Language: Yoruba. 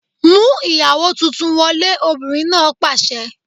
Mú ìyàwó tuntun wọlé! Obìnrin náà pàṣẹ.